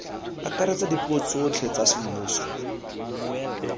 akaretsa dipuo tsotlhe tsa semmuso